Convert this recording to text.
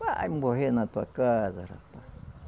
Vai morrer na tua casa, rapaz.